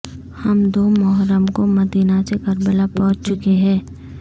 ہم دو محرم کو مدینہ سے کربلا پہنچ چکے ہیں